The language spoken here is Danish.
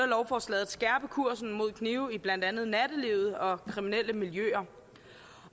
lovforslaget at skærpe kursen mod knive i blandt andet nattelivet og kriminelle miljøer